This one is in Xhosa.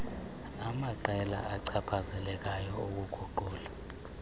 amaqela achaphazelekayo ukuguqula